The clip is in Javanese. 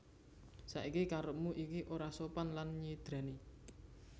Saiki karepmu iku ora sopan lan nyidrani